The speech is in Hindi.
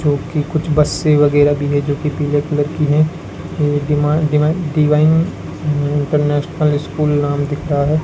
कुछ बसें वगैरह भी है जो कि पीले कलर की हैं ये डिवा डिवाइन इंटरनेशनल स्कूल नाम दिख रहा है।